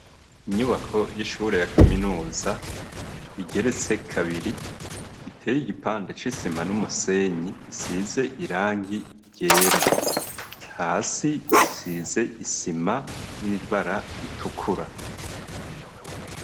Inyubako y'ishure ya kaminuza igeretse kabiri, iteye igipande c'isima n'umusenyi, isize irangi ryera. Hasi isize isima ry'ibara ritukura.